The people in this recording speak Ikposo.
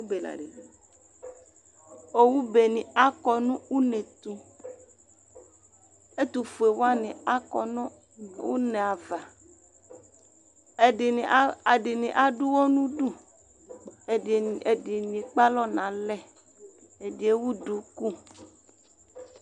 Owubeni akɔ nʋ unetʋ Ɛtʋfuewani akɔ nʋ une ava, ɛdini adʋ ʋwɔ n'ʋdu, ɛdini ekpe alɔ n'alɛ, ɛdi ewu duku